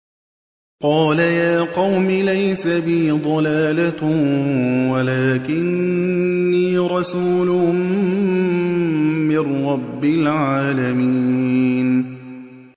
قَالَ يَا قَوْمِ لَيْسَ بِي ضَلَالَةٌ وَلَٰكِنِّي رَسُولٌ مِّن رَّبِّ الْعَالَمِينَ